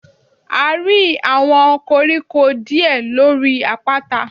A rí àwọn koríko díè lórí àpáta.